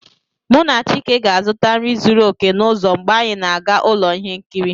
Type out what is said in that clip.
Mụ na chike ga-azụta nri zuru oke n'ụzọ mgbe anyị ga-aga ụlọ ihe nkiri